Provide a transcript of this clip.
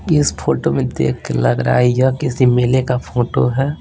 इस फोटो में देख के लग रहा है यह किसी मेले का फोटो है।